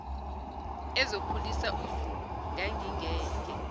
ezokhulisa uzulu ngangingeke